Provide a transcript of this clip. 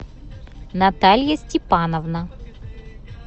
наталья степановна